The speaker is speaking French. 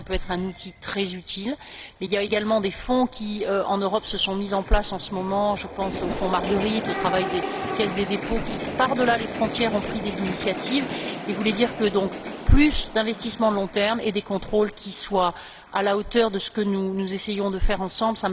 Je crois que ça peut être un outil très utile, mais il y a également des fonds qui, en Europe, se sont mis en place en ce moment je pense au Fonds Marguerite, au travail des caisses des dépôts qui, par delà les frontières, ont pris des initiatives et je voulais donc plaider en faveur de plus d'investissements à long terme et de contrôles qui soient à la hauteur de ce que nous essayons de faire ensemble.